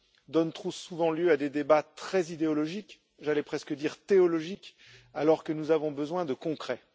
donne trop souvent lieu à des débats très idéologiques j'allais presque dire théologiques alors que nous avons besoin de concret.